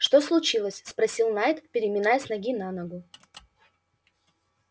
что случилось спросил найд переминаясь с ноги на ногу